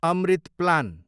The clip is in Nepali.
अमृत प्लान